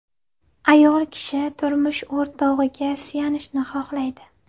Ayol kishi turmush o‘rtog‘iga suyanishni xohlaydi.